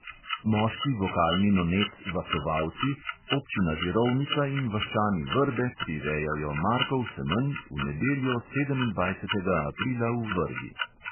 Moški vokalni nonet vasovalci, občina žirovnica in vaščani vrbe prirejajo markov semenj v nedeljo, sedemindvajsetega aprila v vrbi.